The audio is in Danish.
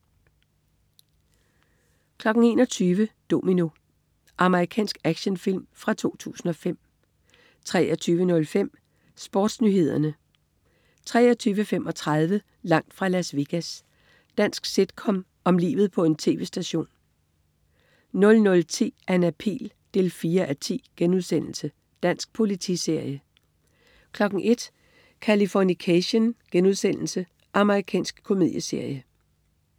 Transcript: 21.00 Domino. Amerikansk actionfilm fra 2005 23.05 SportsNyhederne 23.35 Langt fra Las Vegas. Dansk sitcom om livet på en tv-station 00.10 Anna Pihl 4:10.* Dansk politiserie 01.00 Californication.* Amerikansk komedieserie